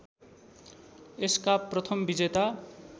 यसका प्रथम विजेता